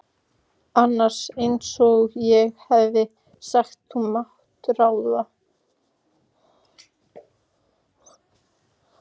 annars, einsog ég hef sagt, þú mátt ráða.